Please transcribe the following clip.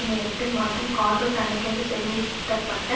நேரத்தில் மற்றும் கார்கள் தனக்கென்று செறிவூட்டப்பட்ட